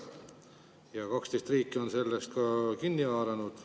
Ja 12 riiki on sellest ka kinni haaranud.